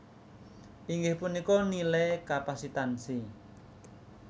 inggih punika nilai kapasitansi